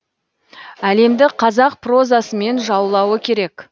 әлемді қазақ прозасымен жаулауы керек